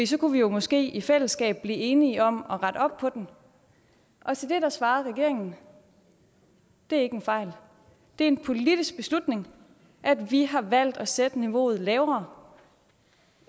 så kunne vi jo måske i fællesskab blive enige om at rette op på den og til det svarede regeringen det er ikke en fejl det er en politisk beslutning at vi har valgt at sætte niveauet lavere